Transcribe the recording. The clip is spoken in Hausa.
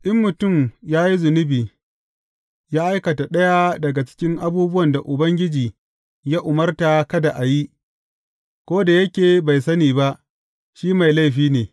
In mutum ya yi zunubi, ya aikata ɗaya daga cikin abubuwan da Ubangiji ya umarta kada a yi, ko da yake bai sani ba, shi mai laifi ne.